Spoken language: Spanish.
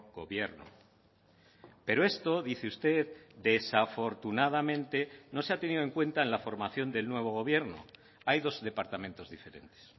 gobierno pero esto dice usted desafortunadamente no se ha tenido en cuenta en la formación del nuevo gobierno hay dos departamentos diferentes